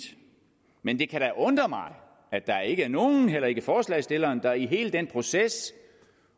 men det kan da undre mig at der ikke er nogen heller ikke forslagsstillerne der i hele den proces